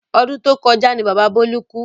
Ọdún to kọjá ní bàbá Bọlá kú